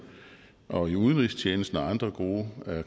og udenrigstjenesten og andre gode